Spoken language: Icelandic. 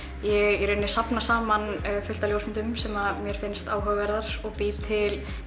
í rauninni safna saman fullt af ljósmyndum sem mér finnst áhugaverðar og bý til